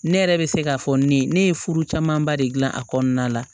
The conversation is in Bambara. Ne yɛrɛ bɛ se k'a fɔ ne ye ne ye furu camanba de gilan a kɔnɔna la